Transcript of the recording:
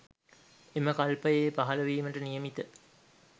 එම කල්පයේ පහළවීමට නියමිත